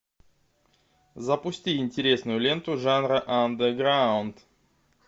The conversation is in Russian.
запусти интересную ленту жанра андеграунд